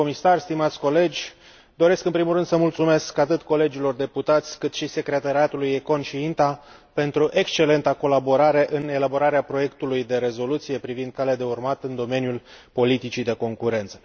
Domnule comisar, stimați colegi, doresc în primul rând să mulțumesc atât colegilor deputați, cât și secretariatelor ECON și INTA pentru excelenta colaborare în elaborarea proiectului de rezoluție privind calea de urmat în domeniul politicii de concurență.